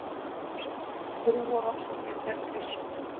Trúarofsóknir gegn kristnum